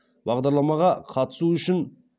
бағдарламаға қатысу үшін